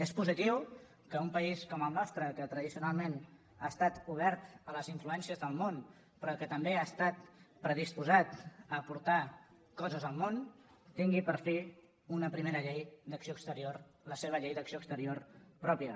és positiu que un país com el nostre que tradicionalment ha estat obert a les influències del món però que també ha estat predisposat a aportar coses al món tingui per fi una primera llei d’acció exterior la seva llei d’acció exterior pròpia